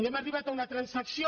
hem arribat a una transacció